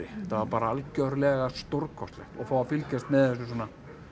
þetta var bara algjörlega stórkostlegt og fá að fylgjast með þessu svona